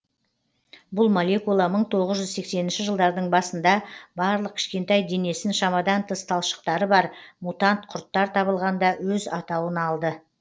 бұл молекула мың тоғыз жүз сексенінші жылдардың басында барлық кішкентай денесін шамадан тыс талшықтары бар мутант құрттар табылғанда өз атауын алды